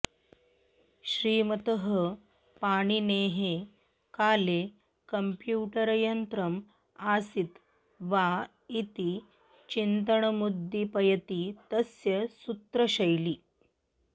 श्रीमतः पाणिनेः काले कम्प्यूटरयन्त्रम् आसीत् वा इति चिन्त्नमुद्दीपयति तस्य सूत्रशैली